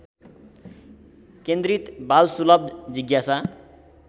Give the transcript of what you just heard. केन्द्रित बालसुलभ जिज्ञासा